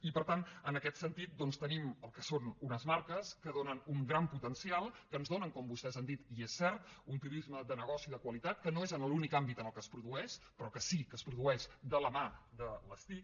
i per tant en aquest sentit tenim el que són unes marques que donen un gran potencial que ens donen com vostès han dit i és cert un turisme de negoci de qualitat que no és l’únic àmbit en què es produeix però que sí que es produeix de la mà de les tic